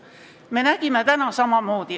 Mida me täna nägime?